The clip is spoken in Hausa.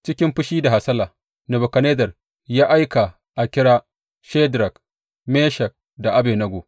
Cikin fushi da hasala, Nebukadnezzar ya aika a kira Shadrak, Meshak da Abednego.